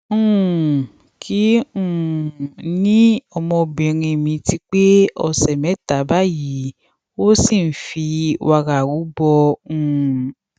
um kí um ni ọmọbìnrin mi ti pé ọsẹ mẹta báyìí ó sì ń fi wàrà rúbọ um